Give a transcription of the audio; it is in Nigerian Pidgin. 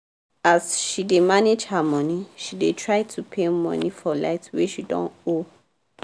as she dey manage her money she dey try to pay money for light wey she don owe